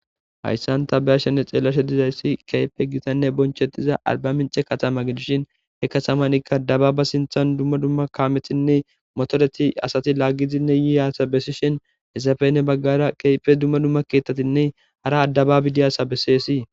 Hayssanta bahashenne xeellashe dizayssi keepe gitanne bonchetiza alba mince katama gidishin he katamanikka dababa sinthan dumma dumma kaamethinne motoreti asati laggizinne yiiasa bessishin hesafene baggara keepe dumma dumma keettatinne hara addababi diyaasa besseesii.